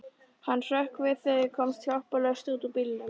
Hann hrökk við og komst hjálparlaust út úr bílnum.